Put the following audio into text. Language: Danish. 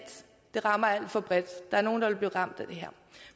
det rammer alt for bredt der er nogle der vil blive ramt af det her